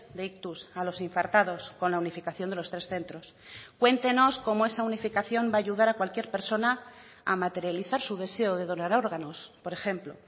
de ictus a los infartados con la unificación de los tres centros cuéntenos como esa unificación va a ayudar a cualquier persona a materializar su deseo de donar órganos por ejemplo